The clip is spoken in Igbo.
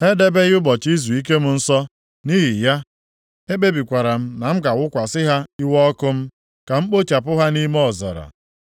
Ha edebeghị ụbọchị izuike m nsọ. Nʼihi ya, ekpebikwara m na m ga-awụkwasị ha iwe ọkụ m, ka m kpochapụ ha nʼime ọzara.